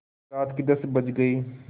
रात के दस बज गये